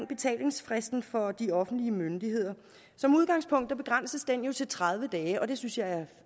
betalingsfristen for de offentlige myndigheder som udgangspunkt begrænses den jo til tredive dage og det synes jeg er